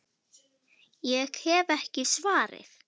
Ég hef ekki svarið.